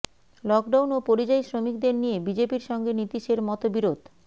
lockdown ও পরিযায়ী শ্রমিকদের নিয়ে বিজেপির সঙ্গে নীতিশের মতবিরোধ